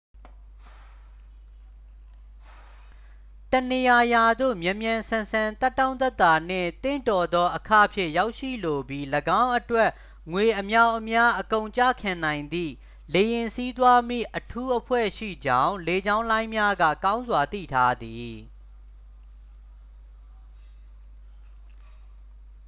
တစ်နေရာရာသို့ မြန်မြန်ဆန်ဆန် သက်တောင့်သက်သာနှင့် သင့်တော်သောအခ ဖြင့် ရောက်ရှိလိုပြီး ၎င်းအတွက် ငွေအမြောက်အမြားအကုန်ကျခံနိုင်သည့် လေယာဉ်စီးသွားမည့်အထူးအဖွဲ့ရှိကြောင်း လေကြောင်းလိုင်းများက ကောင်းစွာ သိထားသည်